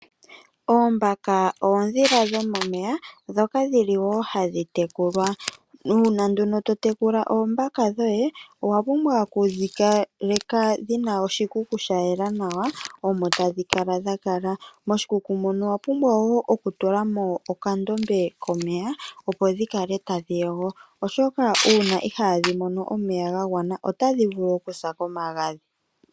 Oombaka oondhila dhomomeya, ndhoka hadhi tekulwa wo. Uuna to tekula oombaka dhoye owa pumbwa okudhi kaleka dhi na oshikuku sha yela omo to dhi edhilile. Moshikuku owa pumbwa wo okutula mo okandombe komeya, oshoka uuna itaadhi mono omeya ga gwana otadhi vulu okusa komagadhi.